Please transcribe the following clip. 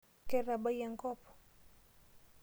Ketabayie enkop?